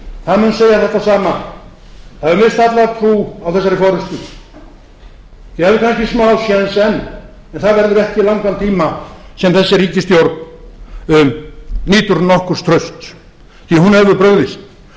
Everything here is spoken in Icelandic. það mun segja þetta sama það hefur misst alla trú á þessari forustu þið hafið kannski smásjens enn en það verður ekki í langan tíma sem þessi ríkisstjórn nýtur nokkurs trausts því að hún hefur